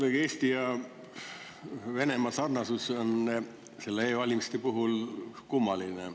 Jah, Eesti ja Venemaa sarnasus nende e-valimiste puhul on kuidagi kummaline.